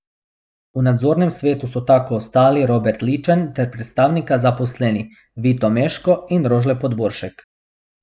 V nadzornem svetu so tako ostali Robert Ličen ter predstavnika zaposlenih, Vito Meško in Rožle Podboršek.